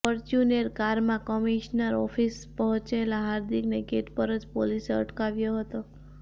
Fortuner કારમાં commissioner office પહોંચેલા હાર્દિકને ગેટ પર જ પોલીસે અટકાવ્યો હતો